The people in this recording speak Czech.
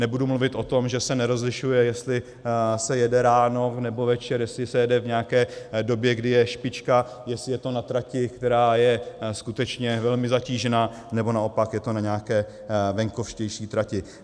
Nebudu mluvit o tom, že se nerozlišuje, jestli se jede ráno, nebo večer, jestli se jede v nějaké době, kdy je špička, jestli je to na trati, která je skutečně velmi zatížená, nebo naopak je to na nějaké venkovštější trati.